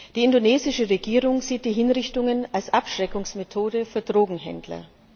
Die indonesische Regierung sieht die Hinrichtungen als Abschreckungsmethode für Drogenhändler.